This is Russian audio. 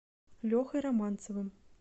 лехой романцовым